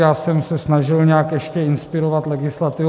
Já jsem se snažil nějak ještě inspirovat legislativou.